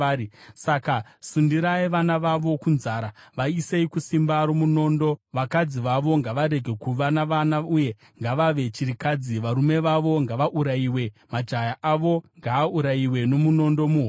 Saka sundirai vana vavo kunzara; vaisei kusimba romunondo. Vakadzi vavo ngavarege kuva navana uye ngavave chirikadzi; varume vavo ngavaurayiwe, majaya avo ngaaurayiwe nomunondo muhondo.